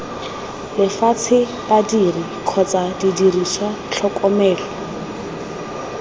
lefatshe badiri kgotsa didiriswa tlhokomelo